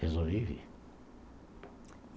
Resolvi vir.